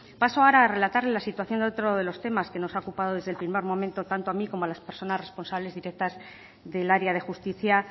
paso ahora a relatar la situación de otro de los temas que nos ha ocupado desde el primer momento tanto a mí como a las personas responsable directas del área de justicia